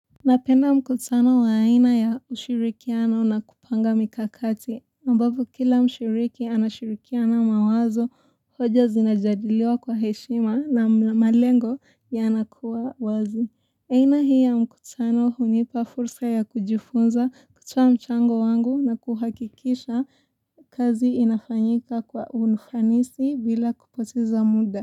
Napenda mkutano wa aina ya ushirikiano na kupanga mikakati, ambapo kila mshiriki anashirikiana mawazo, hoja zinajadiliwa kwa heshima na malengo ya anakuwa wazi. Aina hii ya mkutano hunipa fursa ya kujifunza, kutoa mchango wangu na kuhakikisha kazi inafanyika kwa ufanisi bila kupoteza muda.